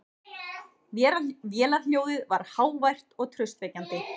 Vélarhljóðið var hávært og traustvekjandi.